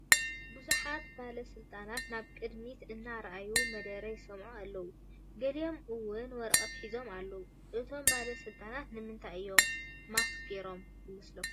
ብዙሓት ባለስልጣናት ናብ ቅድሚት እናራኣዩ መደረ ይሰምዑ ኣለው፡፡ ገሊኦም ውን ወረቐት ሒዞም ኣለው፡፡ እቶም ባለ ስልጣናት ንምንታይ እዮም ማስክ ጌሮም ይመስለኩም?